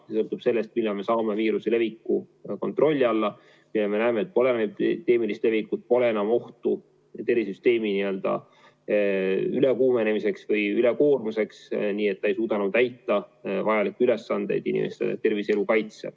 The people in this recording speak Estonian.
See sõltub sellest, millal me saame viiruse leviku kontrolli alla ja näeme, et pole pandeemilist levikut, pole enam ohtu tervishoiusüsteemi ülekuumenemiseks või ülekoormuseks, nii et ta ei suuda enam täita vajalikke ülesandeid inimeste tervise ja elu kaitsel.